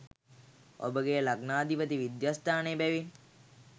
ඔබගේ ලග්නාධිපති විද්‍යස්ථානයේ බැවින්